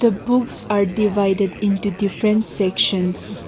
the books are divided into different sections.